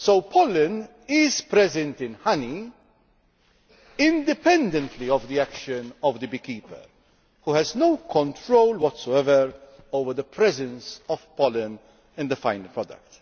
Pollen is present in honey independently of the action of the beekeeper, who has no control whatsoever over the presence of pollen in the final product.